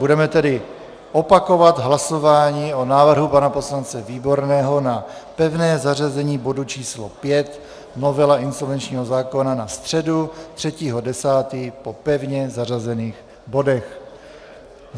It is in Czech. Budeme tedy opakovat hlasování o návrhu pana poslance Výborného na pevné zařazení bodu číslo 5, novela insolvenčního zákona, na středu 3. 10. po pevně zařazených bodech.